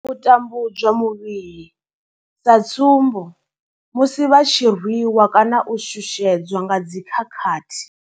U tambudzwa muvhili sa tsumbo, musi vha tshi rwi wa kana u shushedzwa nga dzi khakhathi.